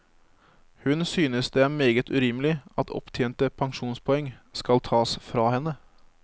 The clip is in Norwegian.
Hun synes det er meget urimelig at opptjente pensjonspoeng skal tas fra henne.